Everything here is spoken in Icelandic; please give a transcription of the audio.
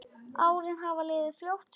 Árin hafa liðið fljótt.